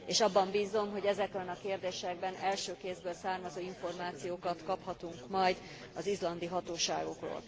És abban bízom, hogy ezekben a kérdésekben első kézből származó információkat kaphatunk majd az izlandi hatóságokról.